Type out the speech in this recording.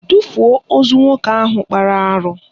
Tufuo ozu nwoke ahụ kpara arụ!